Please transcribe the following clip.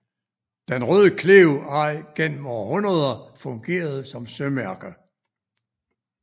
Den Røde Klev har gennem århundreder fungeret som sømærke